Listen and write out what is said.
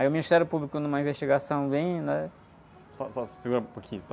Aí o Ministério Público, numa investigação bem... Né?ó, só, segura um pouquinho, só...